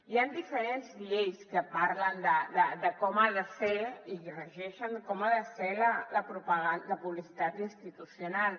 hi han diferents lleis que parlen de com ha de ser i regeixen com ha de ser la pu·blicitat institucional